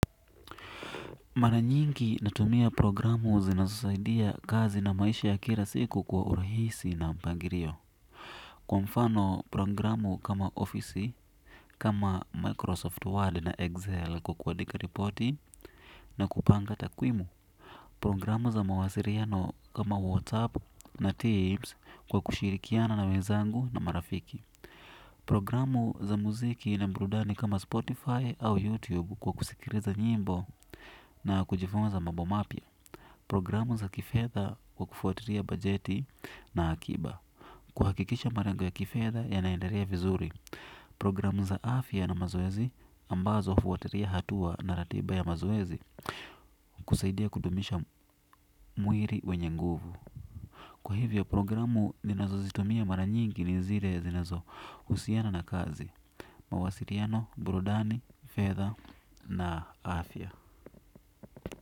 Mara nyingi natumia programu zinazosaidia kazi na maisha ya kila siku kwa urahisi na mpangilio. Kwa mfano programu kama Office, kama Microsoft Word na Excel kwa kuandika ripoti na kupanga takwimu. Programu za mawasiliano kama WhatsApp na Teams kwa kushirikiana na wenzangu na marafiki. Programu za muziki na burudani kama Spotify au YouTube kwa kusikiliza nyimbo na kujifunza mambo mapya programu za kifedha kwa kufuatilia bajeti na akiba kuhakikisha malengo ya kifedha yanaendelea vizuri. Programu za afya na mazoezi ambazo hufuatilia hatua na ratiba ya mazoezi kusaidia kudumisha mwili wenye nguvu. Kwa hivyo programu ninazozitumia mara nyingi ni zile ya zinazo husiana na kazi Mawasiliano, Burudani, Fedha na Afia.